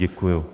Děkuji.